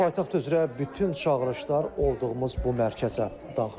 Paytaxt üzrə bütün çağırışlar olduğumuz bu mərkəzə daxil olur.